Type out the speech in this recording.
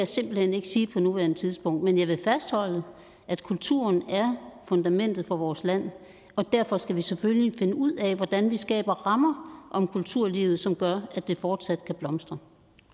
simpelt hen ikke sige på nuværende tidspunkt men jeg vil fastholde at kulturen er fundamentet for vores land og derfor skal vi selvfølgelig finde ud af hvordan vi skaber rammer om kulturlivet som gør at det fortsat kan blomstre